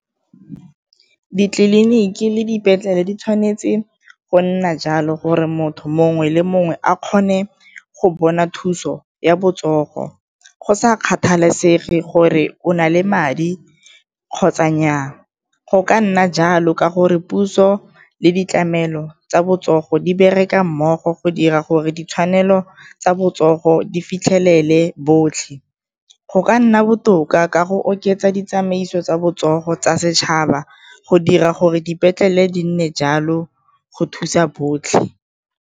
Ditleliniki le dipetlele di tshwanetse go nna jalo gore motho mongwe le mongwe a kgone go bona thuso ya botsogo, go sa kgathalesege gore o na le madi kgotsa nnyaa. Go ka nna jalo ka gore puso le ditlamelo tsa botsogo di bereka mmogo go dira gore ditshwanelo tsa botsogo di fitlhelele botlhe, go ka nna botoka ka go oketsa ditsamaiso tsa botsogo tsa setšhaba go dira gore dipetlele di nne jalo go thusa botlhe.